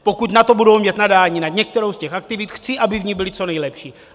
Pokud na to budou mít nadání, na některou z těch aktivit, chci, aby v ní byly co nejlepší.